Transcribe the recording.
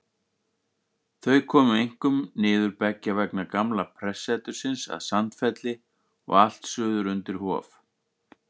Þau komu einkum niður beggja vegna gamla prestsetursins að Sandfelli og allt suður undir Hof.